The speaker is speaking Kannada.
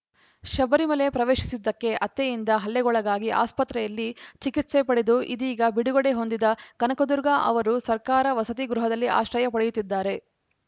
ಶಬರಿಮಲೆ ಪ್ರವೇಶಿಸಿದ್ದಕ್ಕೆ ಅತ್ತೆಯಿಂದ ಹಲ್ಲೆಗೊಳಗಾಗಿ ಆಸ್ಪತ್ರೆಯಲ್ಲಿ ಚಿಕಿತ್ಸೆ ಪಡೆದು ಇದೀಗ ಬಿಡುಗಡೆ ಹೊಂದಿದ ಕನಕದುರ್ಗಾ ಅವರು ಸರ್ಕಾರ ವಸತಿ ಗೃಹದಲ್ಲಿ ಆಶ್ರಯ ಪಡೆಯುತ್ತಿದ್ದಾರೆ